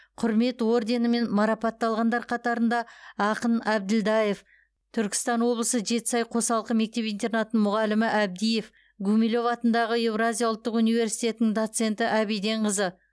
құрмет орденімен марапатталғандар қатарында ақын әбділдаев түркістан облысы жетісай қосалқы мектеп интернатының мұғалімі әбдиев гумилев атындағы еуразия ұлттық университетінің доценті әбиденқызы